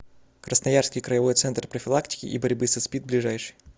красноярский краевой центр профилактики и борьбы со спид ближайший